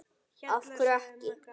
Af hverju ekki?